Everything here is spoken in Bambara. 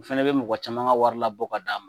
N fana bɛ mɔgɔ caman ka wari labɔ ka d'a ma